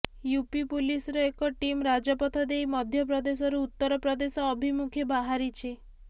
UP ପୁଲିସର ଏକ team ରାଜପଥ ଦେଇ ମଧ୍ୟପ୍ରଦେଶରୁ ଉତ୍ତର ପ୍ରଦେଶ ଅଭିମୁଖେ ବାହାରିଛି